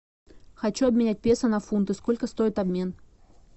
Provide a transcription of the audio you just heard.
хочу обменять песо на фунты сколько стоит обмен